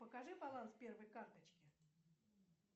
покажи баланс первой карточки